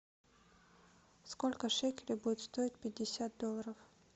сколько шекелей будет стоить пятьдесят долларов